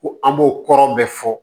Ko an b'o kɔrɔ bɛɛ fɔ